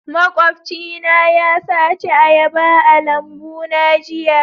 Makwabcina ya sace ayaba a lambuna jiya